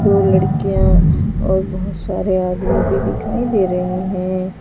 दो लड़कियां और बहोत सारे आदमी भी दिखाई दे रहे हैं।